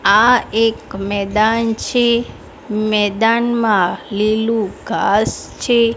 આ એક મેદાન છે મેદાનમાં લીલુ ઘાંસ છે.